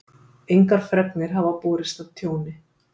Engar fregnir hafa borist af tjóni